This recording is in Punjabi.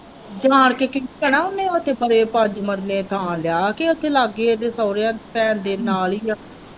ਜਾਨ ਕੇ ਭੈਣਾਂ ਇਹਨੇ ਉੱਥੇ ਪਰੇ ਪੰਜ ਮਰਲੇੇ ਥਾਂ ਲਿਆ ਕ ਉੱਥੇ ਲਾਗੇ ਇਹਦੇ ਸੋਹਰੇ ਭੈਣ ਦੇ ਨਾਲ ਹੀ ਹੈ।